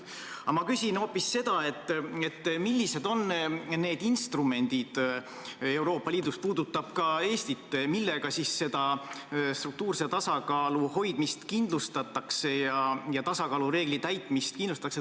Aga ma küsin hoopis seda, millised on need instrumendid Euroopa Liidus , millega struktuurse tasakaalu hoidmist ja tasakaalureegli täitmist kindlustatakse.